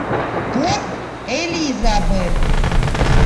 порт элизабет